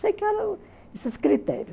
Sei que era esses critérios.